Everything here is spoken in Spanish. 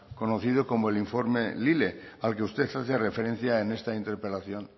conocido como el informe lile al que usted hace referencia en esta interpelación